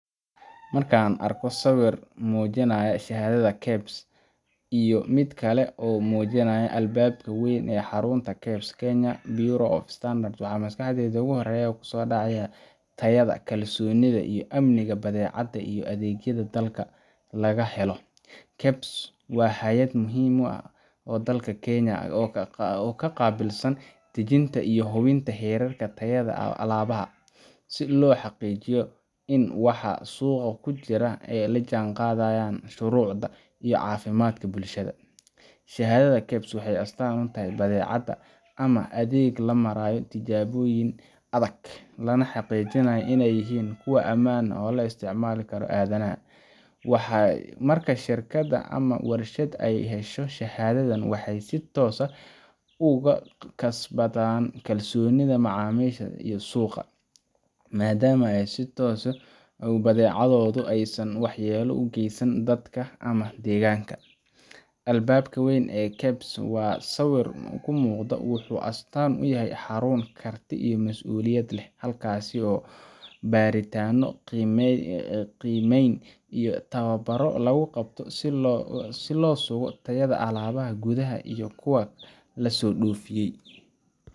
Marka aan arko sawir muujinaya shahaadad KEBS ah iyo mid kale oo muujinaya albaabka weyn ee xarunta KEBS, Kenya Bureau of Standards waxa maskaxdayda ugu horreeya ay tahay tayada, kalsoonida, iyo amniga badeecadaha iyo adeegyada dalka laga helo. KEBS waa hay’ad muhiim ah oo dalka Kenya ka qaabilsan dejinta iyo hubinta heerarka tayada alaabada, si loo xaqiijiyo in waxa suuqa ku jira ay la jaanqaadayaan shuruucda iyo caafimaadka bulshada. Shahaadadda KEBS waxay astaan u tahay in badeecad ama adeeg la maray tijaabooyin adag, lana xaqiijiyay inay yihiin kuwo ammaan u ah isticmaalka aadanaha. Marka shirkad ama warshad ay hesho shahaadadan, waxay si toos ah u kasbadaan kalsoonida macaamiisha iyo suuqa, maadaama ay tusinayso in badeecaddeedu aysan waxyeello u geysanayn dadka ama deegaanka. Albaabka weyn ee KEBS ee sawirka ka muuqda wuxuu astaan u yahay xarun karti iyo mas’uuliyad leh, halkaas oo baaritaanno, qiimeyn iyo tababbarro lagu qabto si loo sugo tayada alaabada gudaha iyo kuwa laso dhoofiyay.